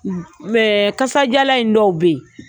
Mɛ akasadiyalan in dɔw bɛ yen